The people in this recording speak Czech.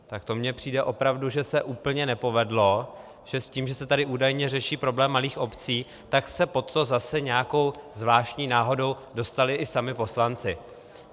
Tak to mi přijde opravdu, že se úplně nepovedlo, že s tím, že se tady údajně řeší problém malých obcí, tak se pod to zase nějakou zvláštní náhodou dostali i sami poslanci.